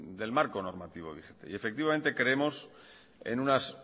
del marco normativo vigente y efectivamente creemos en unas